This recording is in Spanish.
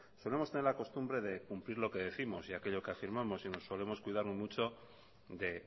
solemos tener la costumbre de cumplir lo que décimos y aquello que afirmamos y nos solemos cuidar mucho de